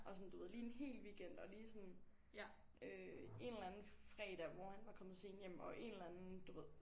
Og sådan du ved lige en hel weekend og lige sådan øh en eller anden fredag hvor han var kommet sent hjem og en eller anden du ved